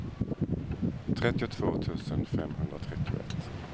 trettiotvå tusen femhundratrettioett